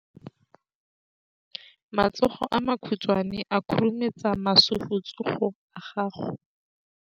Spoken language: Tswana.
Matsogo a makhutshwane a khurumetsa masufutsogo a gago.